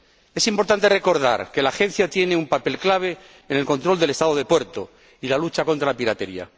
Es importante recordar que la Agencia tiene un papel clave en el control del Estado del puerto y la lucha contra la piratería.